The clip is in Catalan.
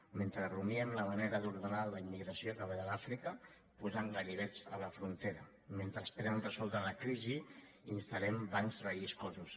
mentre rumiem la manera d’ordenar la immigració que ve de l’àfrica posant ganivets a la frontera mentre esperen resoldre la crisi instal·lem bancs relliscosos